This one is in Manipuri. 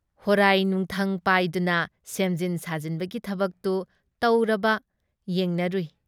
ꯍꯣꯔꯥꯏ, ꯅꯨꯡꯊꯪ ꯄꯥꯏꯗꯨꯅ ꯁꯦꯝꯖꯤꯟ ꯁꯥꯖꯤꯟꯕꯒꯤ ꯊꯕꯛꯇꯨ ꯇꯧꯔꯕ ꯌꯦꯡꯅꯔꯨꯏ ꯫